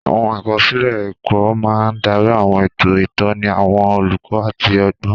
Àwọn àkọsílẹ̀ ẹ̀kọ́ máa ń darí àwọn ètò ìtọ́ni àwọn olùkọ́ àti ọgbọ́n.